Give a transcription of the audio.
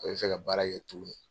O bɛ fɛ ka baara kɛ tuguni.